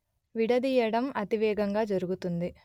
విడదీయటం అతివేగంగా జరుగుతుంది